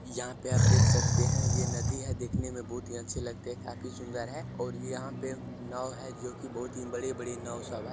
यहां पे आप देख सकते है ये नदी है देखने मे बहुत ही अच्छे लगते है काफी सुंदर है और यहां पे नाव है जो कि बहुत ही बड़े-बड़े नाव सब है।